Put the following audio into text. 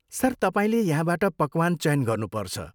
Sir, तपाईँले यहाँबाट पकवान चयन गर्नु पर्छ।